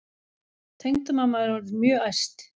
Tengdamamma er orðin mjög æst.